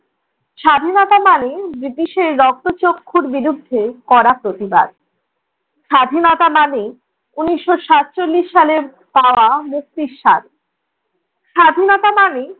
স্বাধীনতা মানে ব্রিটিশের রক্তচক্ষুর বিরুদ্ধে কড়া প্রতিবাদ, স্বাধীনতা মানে উনিশ সাতচল্লিশ সালের তারা মুক্তির স্বাদ স্বাধীনতা মানেই